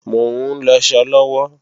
Mò ń lọṣọ lọ́wọ́